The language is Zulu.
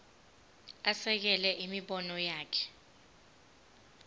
asekele imibono yakhe